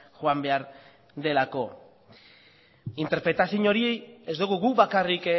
joan behar delako interpretazio hori ez dugu guk bakarrik